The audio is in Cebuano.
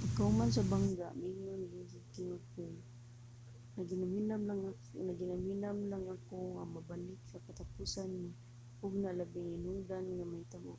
pagkahuman sa bangga miingon si king of clay naghinamhinam lang ako nga makabalik sa katapusang mga hugna sa labing hinungdanong mga hinabo.